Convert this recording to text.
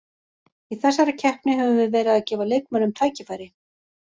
Í þessari keppni höfum við verið að gefa leikmönnum tækifæri.